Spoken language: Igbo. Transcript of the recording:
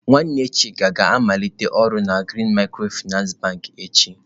Nwanne Chika ga-amaliteghachi ọrụ na Green micro-finance bank echi.